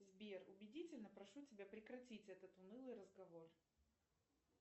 сбер убедительно прошу тебя прекратить этот унылый разговор